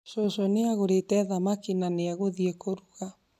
Cũcũ nĩ agũrĩte thamaki na nĩ egũthi kuruga